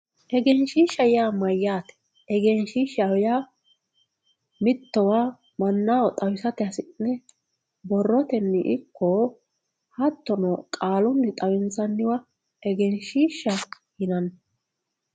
Egenshiishsha yaa mayyate, egenshiishshaho yaa mittowa mannaho xawisate hasidhe borroteni ikko hattono qaalunni xawinsanniwa egenshiishshaho yinanni.